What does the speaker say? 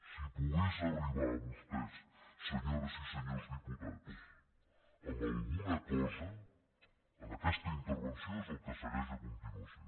si pogués arribar a vostès se·nyores i senyors diputats amb alguna cosa en aquesta intervenció és el que segueix a continuació